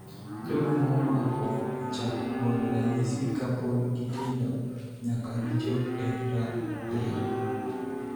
Jogo ma omako chako golo ranyisi ka pod gitindo nyaka gichop e ria.